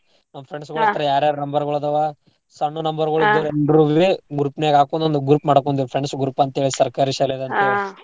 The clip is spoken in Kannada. ನಮ್ friends ಹತ್ರ ಯಾರ್ಯಾರ್ number ಗುಳ್ ಅದಾವ ಸಣ್ಣು number ಗುಳ್ ಇದ್ದೋರ್ ಎಲ್ಲರೂ ಇರ್ರೀ group ನ್ಯಾಗ್ ಹಾಕೊಂಡ್ ಒಂದ್ group ಮಾಡ್ಕೊಂಡಿವ್ ಒಂದ್ friends group ಅಂತೇಳಿ ಸರ್ಕಾರಿ ಶಾಲೇದ್ ಅಂತೇಳಿ .